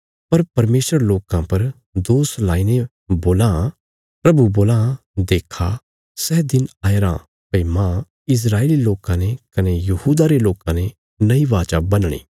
पर परमेशर लोकां पर दोष लाईने बोलां प्रभु बोलां देक्खा सै दिन आया रां भई मांह इस्राएली लोकां ने कने यहूदा रे लोकां ने नई वाचा बन्हणी